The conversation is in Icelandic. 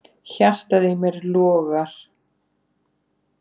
Hjartað í mér logar.